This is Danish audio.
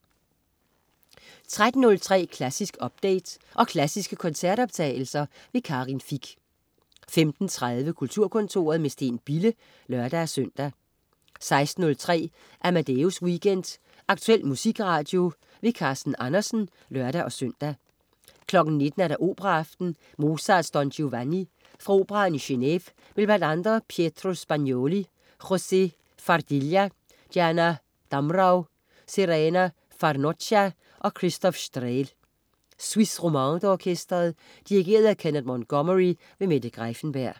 13.03 Klassisk update. Og klassiske koncertoptagelser. Karin Fich 15.30 Kulturkontoret, med Steen Bille (lør-søn) 16.03 Amadeus Weekend. Aktuel musikradio. Carsten Andersen (lør-søn) 19.00 Operaaften. Mozart: Don Giovanni. Fra Operaen i Geneve med bl.a. Pietro Spangnoli, José Fardilha, Diana Damrau, Serena Farnocchia og Christoph Strehl. Suisse Romande Orkestret. Dirigent: Kenneth Montgomery. Mette Greiffenberg